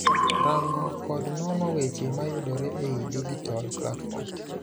Rango kod nono weche mayudore ei dijitol platforms.